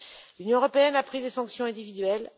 L'Union européenne a pris des sanctions individuelles.